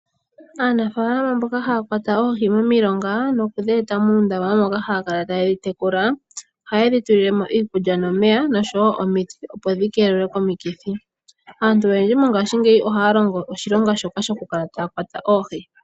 Aanafalama mboka haya kwata oohi momilonga noku dhi eta muundama moka haya kala taye dhi tekula ohaye dhi tulile mo iikulya nomeya nosho wo omiti, opo dhi keelelwe komikithi. Aantu oyendji mongashingeyi ohaa longo oshilonga shoka shokukala taya kwata oohi.